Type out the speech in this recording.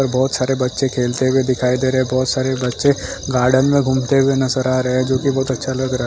बहुत सारे बच्चे खेलते हुए दिखाई दे रहे हैं बहुत सारे बच्चे गार्डन में घूमते हुए नजर आ रहे हैं जो कि बहुत अच्छा लग रहा है।